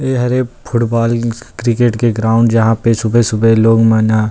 ए हरे football cricket के ground जहाँ पे सुबह-सुबह लोग मन ह --